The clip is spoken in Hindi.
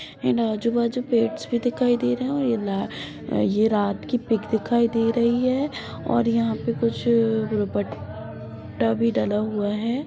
इन आजू-बाजू पेट्स भी दिखाई दे रहे है और ये यह रात की पिक दिखाई दे रही है और यहाँ पे कुछ दुपट्टा भी डला हुआ है।